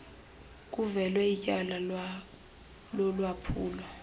kuvulwe ityala lolwaphulo